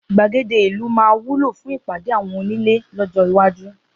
Gbàgede ìlú máa wúlò fún ìpàdé àwọn onílé lọ́jọ́ iwájú.